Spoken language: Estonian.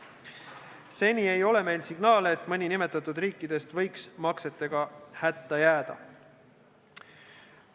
Seni ei ole meil signaale, et mõni nimetatud riikidest võiks maksetega hätta jääda.